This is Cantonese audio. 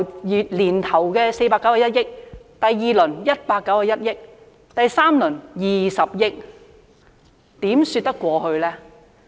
由年頭的491億元，到第二輪是191億元，到第三輪竟然只有20億元，這又怎說得過去呢？